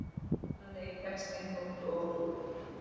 Upprunalegi textinn þótti of klúr